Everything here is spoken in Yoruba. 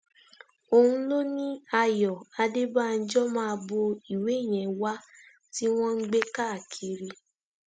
òun ló ni ayọ adébànjọ máa bo ìwé yẹn wá tí wọn ń gbé káàkiri